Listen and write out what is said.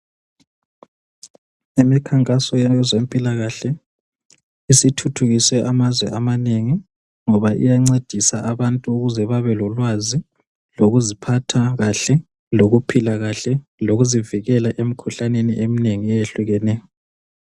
Emikhankasweni yezempilakahle isithuthukise amazwe amanengi ngoba iyangcedisa abantu ukuze babe lolwazi lokuziphatha kahle lokuphila kahle lokuzivikela emkhuhlaneni eminengi ayehlukeneyo